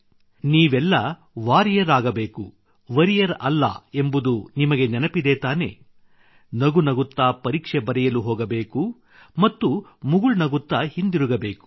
ನೀವೆಲ್ಲ ವಾರಿಯರ್ ಆಗಬೇಕು ವೊರಿಯರ್ ಅಲ್ಲ ಎಂಬುದು ನಿಮಗೆ ನೆನಪಿದೆ ತಾನೆ ನಗುನಗುತ್ತಾ ಪರೀಕ್ಷೆ ಬರೆಯಲು ಹೋಗಬೇಕು ಮತ್ತು ಮುಗುಳುನಗುತ್ತಾ ಹಿಂದಿರುಗಬೇಕು